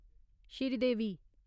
Sridevi